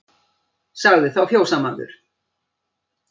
Sagði þá fjósamaður